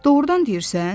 Doğrudan deyirsən?